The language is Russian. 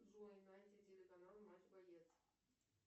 джой найди телеканал матч боец